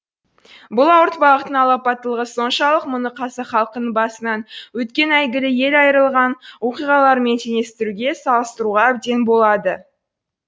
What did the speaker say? бұл ауыртпалықтың алапаттығы соншалық мұны қазақ халқының басынан өткен әйгілі ел айырылған оқиғаларымен теңестіруге салыстыруға әбден болады